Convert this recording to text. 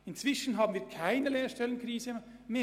Inzwischen haben wir keine Lehrstellenkrise mehr.